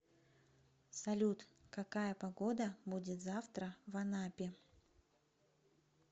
салют какая погода будет завтра в анапе